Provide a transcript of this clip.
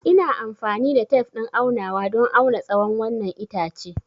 Ina amfani da tef ɗin aunawa don auna tsawon wannan itace.